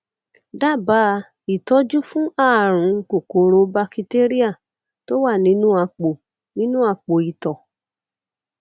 dábàá ìtọjú fún ààrùn kòkòrò bakitéríà tó wà nínú àpò nínú àpò ìtọ